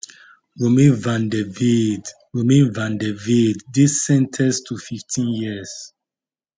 romain vandevelde romain vandevelde dey sen ten ced to 15 years